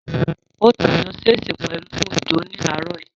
Ó ta ayò ṣẹ́ẹ̀sì pẹ̀lú Òjó ní àárọ̀ yìí